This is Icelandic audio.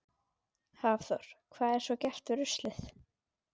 Hafþór: Hvað er svo gert við ruslið?